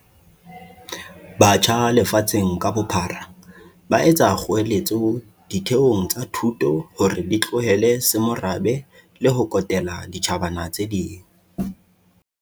Batjha lefatsheng ka bophara ba etsa kgoeletso ditheong tsa thuto hore di tlohele semorabe le ho kotela ditjhabana tse ding.